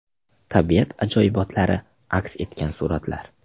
Tabiat ajoyibotlari aks etgan suratlar .